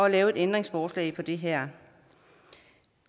at lave et ændringsforslag til det her